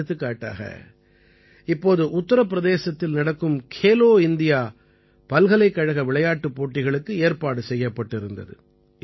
எடுத்துக்காட்டாக இப்போது உத்திரப் பிரதேசத்தில் நடக்கும் கேலோ இண்டியா பல்கலைக்கழக விளையாட்டுப் போட்டிகளுக்கு ஏற்பாடு செய்யப்பட்டிருந்தது